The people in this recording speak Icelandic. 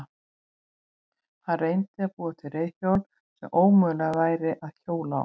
Hann reyndi að búa til reiðhjól sem ómögulegt væri að hjóla á.